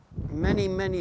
í